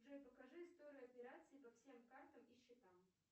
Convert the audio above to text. джой покажи историю операций по всем картам и счетам